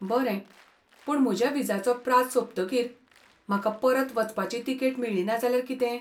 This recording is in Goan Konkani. बरें, पूण म्हज्या विजाचो प्राझ सोंपतकीर म्हाका परत वचपाची तिकेट मेळ्ळी ना जाल्यार कितें?